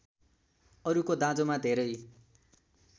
अरूको दाँजोमा धेरै